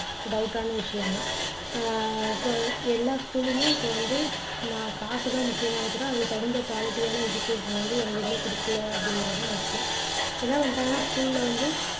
doubt டான விஷயம் தான் ஆஹ் எல்லா school லயுமே இப்போ வந்து காசு தான் முக்கியமாக அதுக்கு தகுந்த quality யான education அ வந்து எங்கேயுமே கொடுக்கல அப்படிங்கறதுதான் முக்கியம் என்ன பண்ணிட்டாங்கன்னா school ல வந்து